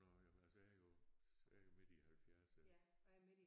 Nåh jamen altså jeg er jo jeg er jo midt i halvfjerdserne